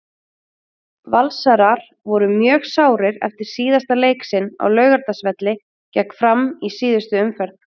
Valsarar voru mjög sárir eftir síðasta leik sinn á Laugardalsvelli gegn Fram í síðustu umferð.